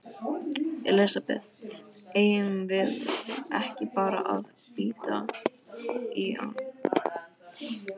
Elísabet: Eigum við ekki bara að bíta í hann?